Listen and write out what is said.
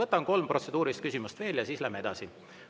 Võtan kolm protseduurilist küsimust veel ja siis läheme edasi.